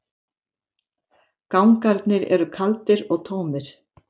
Gangarnir eru kaldir og tómir.